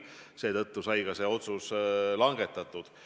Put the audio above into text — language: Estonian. Seetõttu sai ka see otsus langetatud.